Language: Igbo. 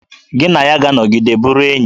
Gị na ya ga-anọgide bụrụ enyi!